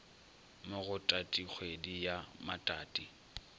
mo go tatikgwedi ya matati